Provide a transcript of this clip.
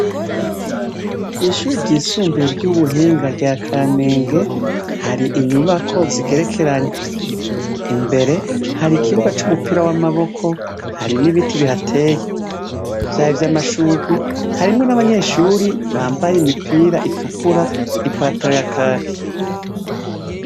Kw'ishure ryisumbuye ry'Ubuhinga ry'akamenge hari inyubako zigerekeranye. Imbere, hari ikibuga c'umupira w'amaboko hari n'ibiti bihateye. Vyaba ivyamashugwe, harimwo n'abanyeshure bambaye imipira itukura n'ipantaro ya kaki.